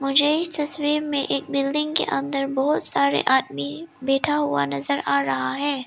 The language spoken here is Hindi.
मुझे इस तस्वीर में एक बिल्डिंग के अंदर बहोत सारे आदमी बैठा हुआ नजर आ रहा है।